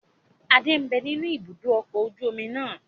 Adé ń bẹ nínú ibùdókọ̀ ọkọ̀ ojú omi náà